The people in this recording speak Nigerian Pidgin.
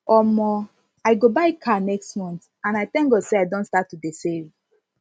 omo i go buy car next month and i thank god say i don start to dey save